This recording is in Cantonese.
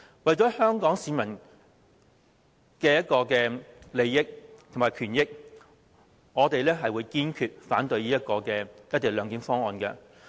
為了香港市民的利益和權益，我們會堅決反對"一地兩檢"方案。